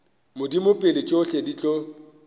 modimo pele tšohle di tlo